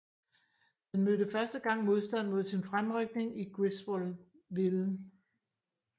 Den mødte første gang modstand mod sin fremrykning i Griswoldville